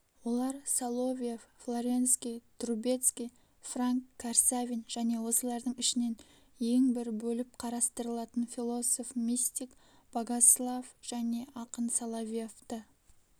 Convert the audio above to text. олар соловьев флоренский трубецкий франк карсавин және осылардың ішінен ең бір бөліп қарастырылатын философ-мистик богослав және ақын соловьевты